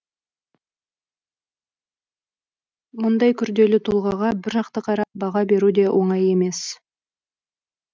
мұндай күрделі тұлғаға бір жақты қарап баға беру де оңай емес